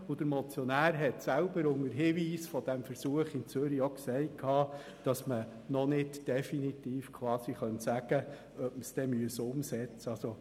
Der Motionär hat unter dem Hinweis des Zürcher Beispiels selber ausgeführt, dass man noch nicht definitiv sagen kann, ob man dies umsetzen muss.